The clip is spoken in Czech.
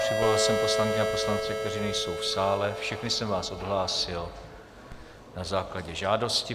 Přivolal jsem poslankyně a poslance, kteří nejsou v sále, všechny jsem vás odhlásil na základě žádosti.